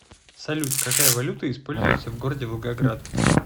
салют какая валюта используется в городе волгоград